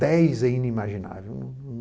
Dez é inimaginável.